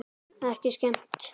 Ekki skemmt.